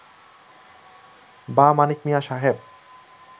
বা মানিক মিয়া সাহেব